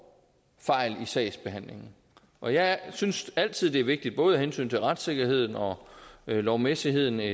fejl i sagsbehandlingen og jeg synes altid at det er vigtigt både af hensyn til retssikkerheden og lovmæssigheden